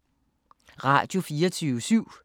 Radio24syv